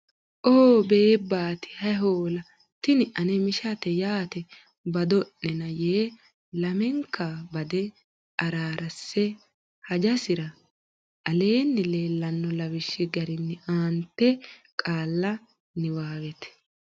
oo beebbaati Hay Hoola Tini ane mishate yaate bado nena yee lamenka bade araarse hajasira. Aleenni leellanno lawishshi garinni aante qaalla niwaawet